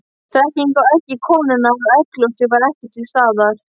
Þekkingin á eggi konunnar og egglosi var ekki til staðar.